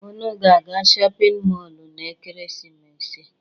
Unu ga-aga shọpin mọọlụ n'ekeresimesi a?